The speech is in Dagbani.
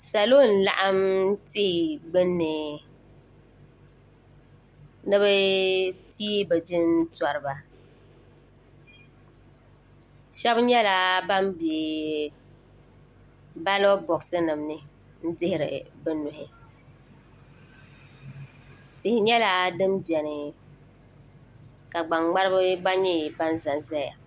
salo n laɣim ti gbani ni bɛ pɛigi bɛ jinturiba shɛbi nyɛla ban bɛ baalo buɣisi nim ni n dɛhiri be nuhi tihi nyɛla dini bɛni ka gbani ŋmɛriba gba zan zaya